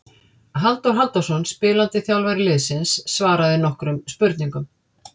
Halldór Halldórsson spilandi þjálfari liðsins svaraði nokkrum spurningum.